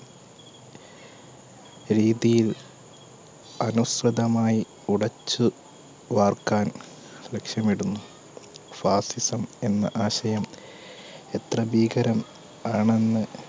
രീതിയിൽ അനുസൃതമായി ഉടച്ച് വാർക്കാൻ ലക്ഷ്യമിടുന്നു fascism എന്ന ആശയം എത്ര ഭീകരം ആണെന്ന്